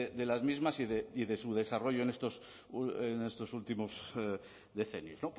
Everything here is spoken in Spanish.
de las mismas y de su desarrollo en estos últimos decenios